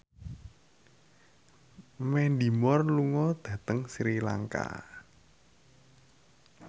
Mandy Moore lunga dhateng Sri Lanka